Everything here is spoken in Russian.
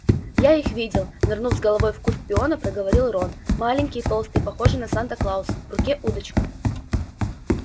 я их видел нырнув с головой в куст пиона проговорил рон маленькие толстые похожие на санта-клауса в руке удочка